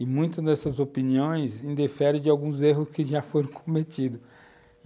E muitas dessas opiniões indeferem de alguns erros que já foram cometidos.